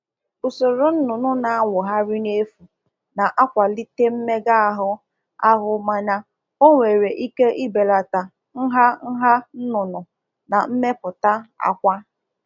ịhapụ ụmụ ọkụkọ ka ha kpagharịa n'ezi na enyere ha aka ịgbatị ahụ, mana nke a pụkwara iweta ọdị iche na etiti ha ebe ọgbasara uto um ha